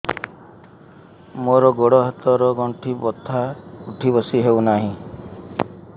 ମୋର ଗୋଡ଼ ହାତ ର ଗଣ୍ଠି ବଥା ଉଠି ବସି ହେଉନାହିଁ